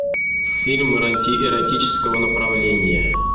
фильм эротического направления